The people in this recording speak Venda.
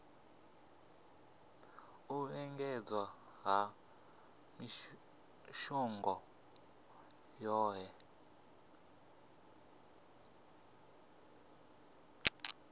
u lingedza ha mishongo yohe